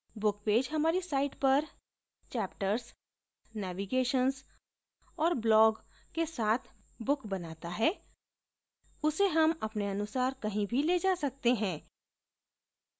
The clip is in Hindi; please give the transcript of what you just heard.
book page हमारी site पर chapters navigations और blog के साथ book बनाता है उसे हम अपने अनुसार कहीं भी the जा सकते हैं